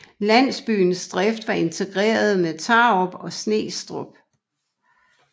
Landsbyens drift var integreret med Tarup og Snestrup